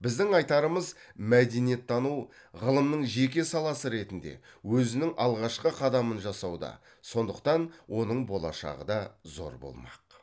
біздің айтарымыз мәдениеттану ғылымның жеке саласы ретінде өзінің алғашқы қадамын жасауда сондықтан оның болашағы да зор болмақ